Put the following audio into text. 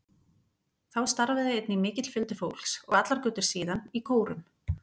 Þá starfaði einnig mikill fjöldi fólks, og allar götur síðan, í kórum.